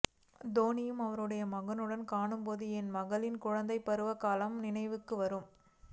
தோனியை அவருடைய மகளுடன் காணும்போது என் மகளின் குழந்தைப் பருவக் காலங்கள் நினைவுக்கு வரும்